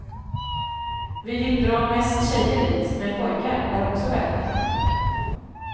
Vi vill dra mest tjejer dit, men pojkar är också välkomna.